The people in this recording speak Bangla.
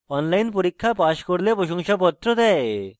online পরীক্ষা pass করলে প্রশংসাপত্র দেয়